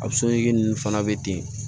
A ninnu fana bɛ ten